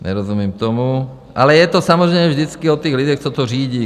Nerozumím tomu, ale je to samozřejmě vždycky o těch lidech, co to řídí.